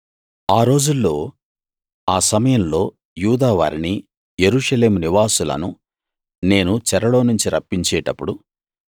ఆ రోజుల్లో ఆ సమయంలో యూదావారిని యెరూషలేము నివాసులను నేను చెరలోనుంచి రప్పించేటప్పుడు